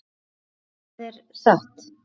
Hvað er satt?